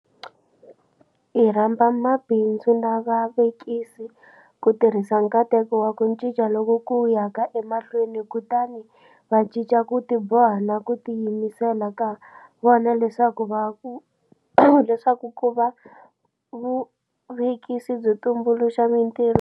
Hi rhamba mabindzu na vavekisi ku tirhisa nkateko wa ku cinca loku ku yaka emahlweni kutani va cinca ku tiboha na ku tiyimisela ka vona leswaku ku va vuvekisi byo tumbuluxa mitirho.